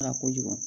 kojugu